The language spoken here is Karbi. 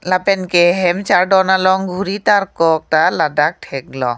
lapen ke hem chardon along ghuri tarlok ta ladak thek long.